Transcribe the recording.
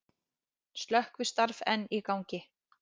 Slökkvistarf enn í gangi